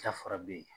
Dafara bɛ yen